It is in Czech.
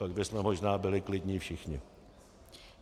Pak bychom možná byli klidní všichni.